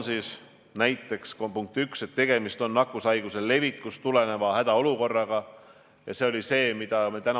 Ma käisin ise nädalavahetusel Terviseametis, nende võimekus on umbes 60 testi 4,5–5 tunniga päevas.